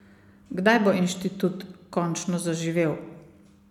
Kdaj bo inštitut končno zaživel?